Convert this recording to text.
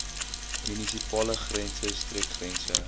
munisipale grense streekgrense